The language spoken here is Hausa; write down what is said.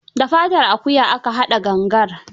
Da fatar akuya aka haɗa gangar.